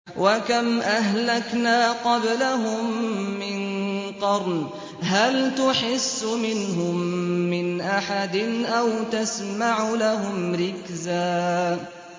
وَكَمْ أَهْلَكْنَا قَبْلَهُم مِّن قَرْنٍ هَلْ تُحِسُّ مِنْهُم مِّنْ أَحَدٍ أَوْ تَسْمَعُ لَهُمْ رِكْزًا